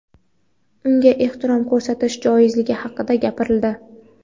unga ehtirom ko‘rsatish joizligi haqida gapirildi.